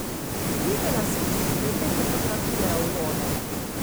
Videla sem čudovite fotografije aurore?